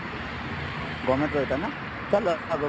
governmentର ଏଇଟା ନା ଚାଲ ଆଗକୁ